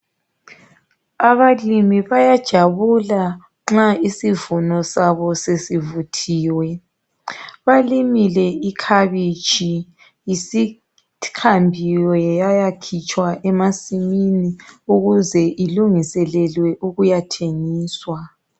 Abalimi bayajabula nxa isivuno sabo sesivuthiwe. Balimile ikhabitshi sebehambile bayayikhipha emasimini ukuze ilungiselelwe ukuyathengiswa.